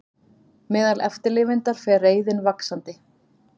Meðal eftirlifenda fer reiðin vaxandi